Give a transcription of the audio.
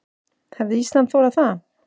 Hefði Ísland þolað það?